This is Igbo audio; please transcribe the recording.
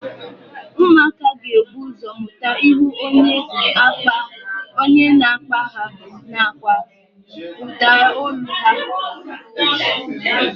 Ụmụaka ga-ebu ụzọ mụta ihu onye na-akpa ha nakwa ụdaolu ha